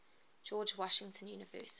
george washington university